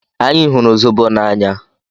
Anyị hụrụ zobo n'anya.